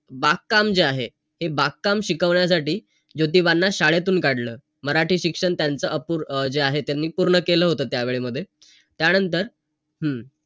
HDFC चे loan केले मला वाटते की त्यावेळेसच कर्जाची process करणं सुद्धा त्यावेळेस माझ्यासोबतच कोणी नव्हतं मग एकटा जायचं नाही का कर्जाची. सगळी process करायची तो करायचं .